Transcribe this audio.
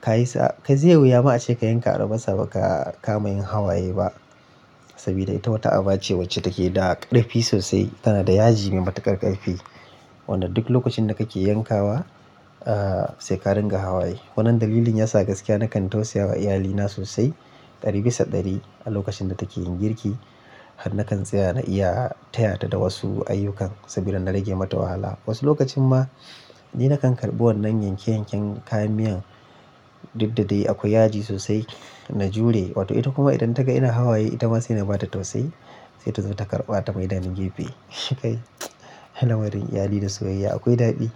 ka yi sa-- ka je wuya ma ace ka yanka albasa ba ka kama yin hawaye ba. Saboda ita wata abu ce wacce take da ƙarfi sosai, tana da yaji mai matuƙar ƙarfi. Wanda duk lokacin da kake yankawa, sai ka ringa hawaye. Wannan dalilin yasa gaskiya nakan tausaya wa iyalina sosai ɗari bisa ɗari a lokacin da take yin girki har na kan tsaya na iya tayata da wasu ayyukan saboda na rage mata wahala. Wasu lokacin ma ni nakan karɓi wannan yanke-yanken kayan miyan duk da dai akwai yaji sosai na jure. Wato ita kuma idan ta ga ina hawaye, ita ma sai na bata tausayi sai ta zo ta karɓa ta ma idani gefe. Kai, halamarun iyali da soyayya akwai daɗi.